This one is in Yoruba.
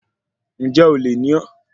Ǹjẹ́ olè ni ọ́?